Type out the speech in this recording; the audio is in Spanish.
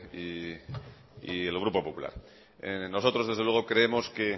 y el grupo popular nosotros desde luego creemos que